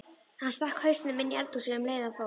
Hann stakk hausnum inní eldhúsið um leið og hann fór.